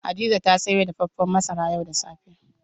Hadiza ta sayo dafafen masara yau da safe.